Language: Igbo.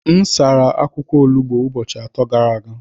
M sara akwụkwọ olugbo ụbọchị atọ gara aga.